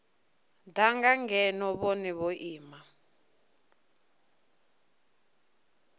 danga ngeno vhone vho ima